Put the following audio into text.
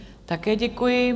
Také děkuji.